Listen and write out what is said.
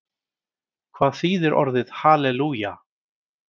Hvað þýðir orðið halelúja?